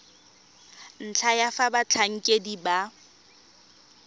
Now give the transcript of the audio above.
ntlha ya fa batlhankedi ba